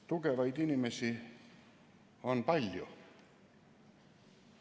Tugevaid inimesi on palju.